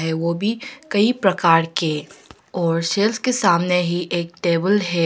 वो भी कई प्रकार के और सेल्स के सामने ही टेबल है।